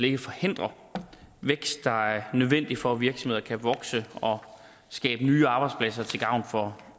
ikke forhindrer den vækst der er nødvendig for at virksomheder kan vokse og skabe nye arbejdspladser til gavn for